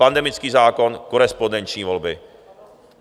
Pandemický zákon, korespondenční volby.